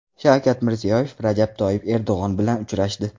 Shavkat Mirziyoyev Rajab Toyyib Erdo‘g‘on bilan uchrashdi.